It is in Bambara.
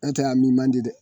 An tɛ a min man di dɛ